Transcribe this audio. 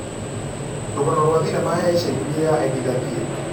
rũgano rwa thenema ya ica ikuhĩ ya Edie Gathie